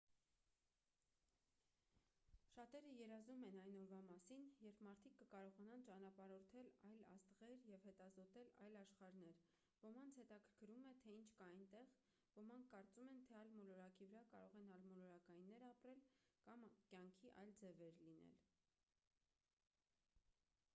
շատերը երազում են այն օրվա մասին երբ մարդիկ կկարողանան ճանապարհորդել այլ աստղեր և հետազոտել այլ աշխարհներ ոմանց հետաքրքրում է թե ինչ կա այնտեղ ոմանք կարծում են թե այլ մոլորակի վրա կարող են այլմոլորակայիններ ապրել կամ կյանքի այլ ձևեր լինել